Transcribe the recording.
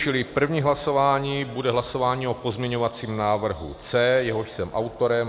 Čili první hlasování bude hlasování o pozměňovacím návrhu C, jehož jsem autorem.